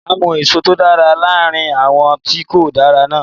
Máa mú èso tó dára láàrin àwọn tí kò dára náà.